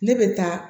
Ne bɛ taa